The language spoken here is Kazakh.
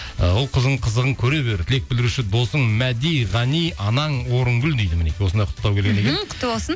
ы ұл қызың қызығын көре бер тілек білдіруші досың мәди ғани анаң орынгүл дейді мінекей осындай құттықтау құтты болсын